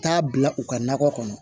Taa bila u ka nakɔ kɔnɔ